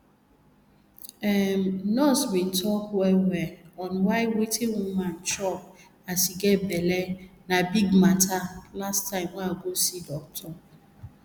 ehmm nurse be talk well well on y wetin woman chop as e get belle na big matter last time i go see doctor